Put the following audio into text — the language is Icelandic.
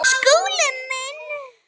Skúli minn!